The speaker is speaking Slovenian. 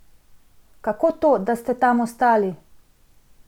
Kako to, da ste tam ostali?